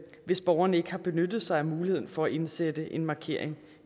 hvis borgeren ikke har benyttet sig af muligheden for at indsætte en markering